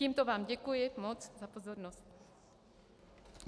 Tímto vám děkuji moc za pozornost.